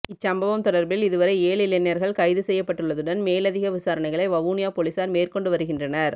இச் சம்பவம் தொடர்பில் இதுவரை ஏழு இளைஞர்கள் கைது செய்யப்பட்டுள்ளதுடன் மேலதிக விசாரணைகளை வவுனியா பொலிஸார் மேற்கொண்டு வருகின்றனர்